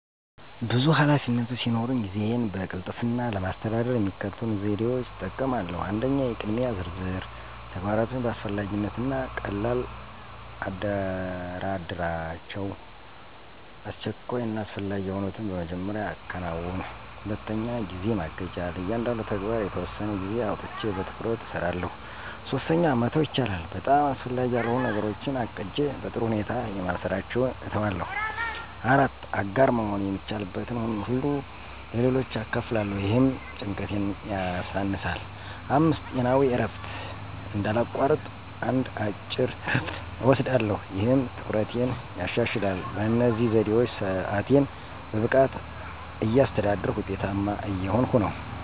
ብዙ ኃላፊነቶች ሲኖሩኝ ጊዜዬን በቅልጥፍና ለማስተዳደር የሚከተሉትን ዘዴዎች እጠቀማለሁ 1. **የቅድሚያ ዝርዝር** - ተግባራቶችን በአስፈላጊነት እና ቀልላ አደራደራቸው፣ አስቸኳይ እና አስፈላጊ የሆኑትን በመጀመሪያ አከናውን። 2. **ጊዜ ማገጃ** - ለእያንዳንዱ ተግባር የተወሰነ ጊዜ አውጥቼ በትኩረት እሰራለሁ። 3. **መተው ይቻላል!** - በጣም አስፈላጊ ያልሆኑ ነገሮችን ለቅጄ በጥሩ ሁኔታ የማልሰራቸውን እተዋለሁ። 4. **አጋር መሆን** - የሚቻልበትን ሁሉ ለሌሎች አካፍላለሁ፣ ይህም ጭንቀቴን ያሳነሳል። 5. **ጤናዊ እረፍት** - እንዳላቋርጥ አንድ አጭር እረፍት እወስዳለሁ፣ ይህም ትኩረቴን ያሻሽላል። በእነዚህ ዘዴዎች ሰአቴን በብቃት እያስተዳደርኩ ውጤታማ እየሆንኩ ነው።